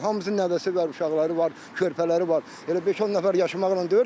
Hamısının nəvəsi var, uşaqları var, körpələri var, elə beş-on nəfər yaşamaqla deyil ki.